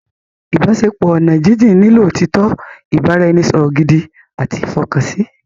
Ìbáṣepọ̀ oní ọ̀nà jínjín nílò òtítọ́, ìbára-ẹni-sọ̀rọ̀ gidi àti ìfọkànsí